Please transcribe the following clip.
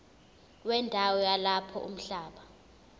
wendawo yalapho umhlaba